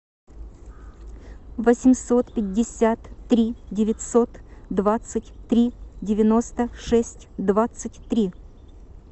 восемьсот пятьдесят три девятьсот двадцать три девяносто шесть двадцать три